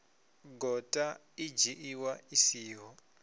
gota i dzhiiwa i siho